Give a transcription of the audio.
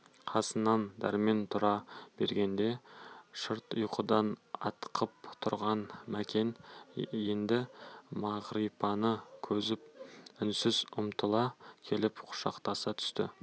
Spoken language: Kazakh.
қасынан дәрмен тұра бергенде шырт ұйқыдан атқып тұрған мәкен енді мағрипаны көріп үнсіз ұмтыла келіп құшақтаса түсті